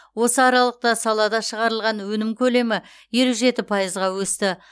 осы аралықта салада шығарылған өнім көлемі елу жеті пайызға өсті